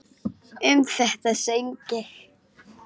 Um þetta söng ég: